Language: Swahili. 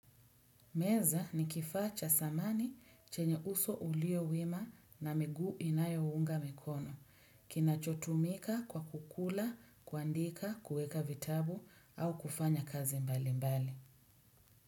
Meza ni kifaa cha zamani chenye uso ulio wima na miguu inayounga mikono. Kinachotumika kwa kukula, kuandika, kuweka vitabu au kufanya kazi mbali mbali.